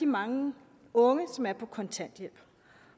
mange unge som er på kontanthjælp